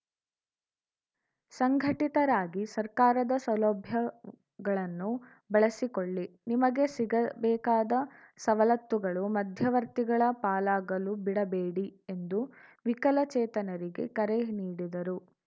ಸಂಘಟಿತರಾಗಿ ಸರ್ಕಾರದ ಸೌಲಭ್ಯಗಳನ್ನು ಬಳಸಿಕೊಳ್ಳಿ ನಿಮಗೆ ಸಿಗಬೇಕಾದ ಸವಲತ್ತುಗಳು ಮಧ್ಯವರ್ತಿಗಳ ಪಾಲಾಗಲು ಬಿಡಬೇಡಿ ಎಂದು ವಿಕಲಚೇತನರಿಗೆ ಕರೆ ನೀಡಿದರು